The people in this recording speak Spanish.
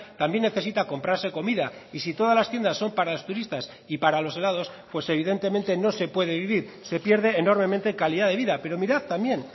también necesita comprarse comida y si todas las tiendas son para los turistas y para los helados pues evidentemente no se puede vivir se pierde enormemente calidad de vida pero mirad también